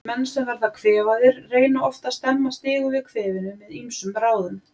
Menn sem verða kvefaðir reyna oft að stemma stigu við kvefinu með ýmsum ráðum.